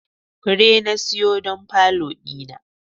fure na siyo don falo dina.